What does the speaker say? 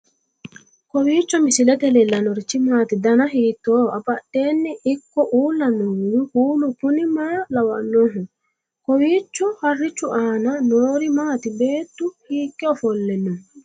kowiicho misilete leellanorichi maati ? dana hiittooho ?abadhhenni ikko uulla noohu kuulu kuni maa lawannoho? kowiicho harichu aana noori maati beetu hiikke ofolle no